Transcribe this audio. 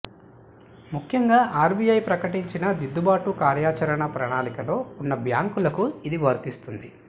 ముఖ్యంగా ఆర్బీఐ ప్రకటించిన దిద్దుబాటు కార్యాచరణ ప్రణాళికలో ఉన్న బ్యాంకులకు ఇది వర్తిస్తుంది